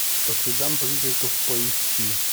по следам призраков поищи